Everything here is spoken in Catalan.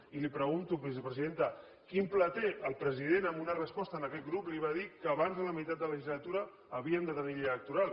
i li pregunto vicepresidenta quin pla té el president en una resposta a aquest grup li va dir que abans de la meitat de la legislatura havíem de tenir llei electoral